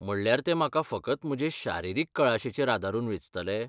म्हणल्यार ते म्हाका फकत म्हजे शारिरीक कळाशेचेर आदारून वेंचतले?